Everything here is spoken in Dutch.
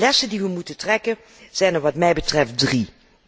De lessen die we moeten trekken, zijn er wat mij betreft drie.